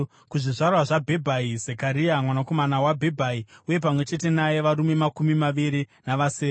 kuzvizvarwa zvaBhebhai, Zekaria mwanakomana waBhebhai, uye pamwe chete naye varume makumi maviri navasere;